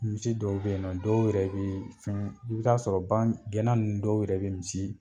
Misi dɔw be yen nɔ dɔw yɛrɛ bee fɛn i bɛ taa sɔrɔ bagan gɛnna nun dɔw yɛrɛ be misi